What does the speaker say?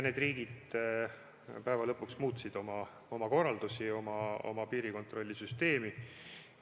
Päeva lõpuks need riigid muutsid oma piirikontrolli süsteemi.